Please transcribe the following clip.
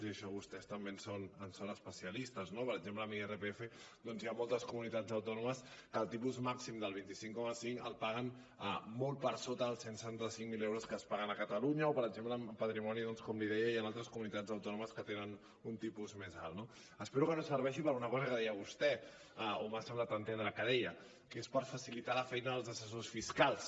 i en això vostès també en són especialistes no per exemple en irpf doncs hi ha moltes comunitats autònomes que el tipus màxim del vint cinc coma cinc el paguen molt per sota dels cent i setanta cinc mil euros que es paguen a catalunya o per exemple en patrimoni com li deia hi han altres comunitats autònomes que tenen un tipus més alt no espero que no serveixi per a una cosa que deia vostè o m’ha semblat entendre que deia que és per facilitar la feina dels assessors fiscals